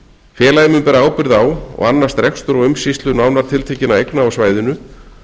félagið mun bera ábyrgð á og annast rekstur og umsýslu nánar tiltekinna eigna á svæðinu